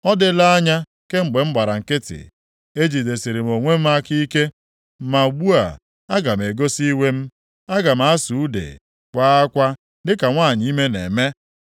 “Ọ dịla anya kemgbe m gbara nkịtị; ejidesịrị m onwe m aka ike. Ma ugbu a, aga m egosi iwe m; aga m asụ ude, kwaa akwa dị ka nwanyị ime na-eme.